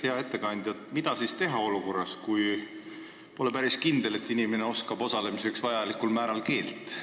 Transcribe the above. Hea ettekandja, mida siis teha olukorras, kui pole päris kindel, et inimene oskab töös osalemiseks vajalikul määral keelt?